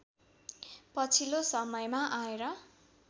पछिल्लो समयमा आएर